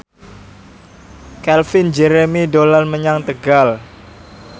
Calvin Jeremy dolan menyang Tegal